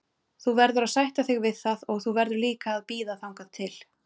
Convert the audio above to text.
Þú verður að sætta þig við það og þú verður líka að bíða þangað til.